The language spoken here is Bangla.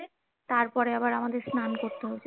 তারপরে আমাদের সান করতে হয়েছে।